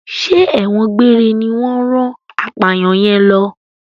Ṣé ẹ̀wọ̀n gbére ní wọ́n rán apàyàn yẹn lọ?